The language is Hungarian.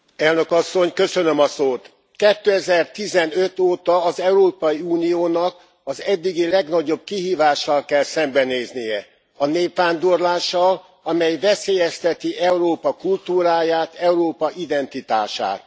Elnök Asszony! 2015 óta az Európai Uniónak az eddigi legnagyobb kihívással kell szembenéznie a népvándorlással, amely veszélyezteti Európa kultúráját, Európa identitását.